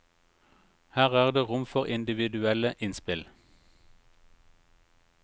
Her er det rom for individuelle innspill.